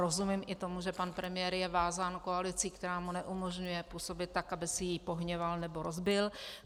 Rozumím i tomu, že pan premiér je vázán koalicí, která mu neumožňuje působit tak, aby si ji pohněval nebo rozbil.